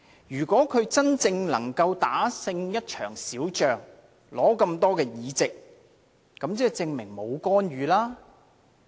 如果他真正能夠打勝一場小仗，得到這麼多席位，即證明沒有干預。